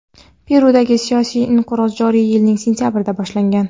Perudagi siyosiy inqiroz joriy yilning sentyabrida boshlangan.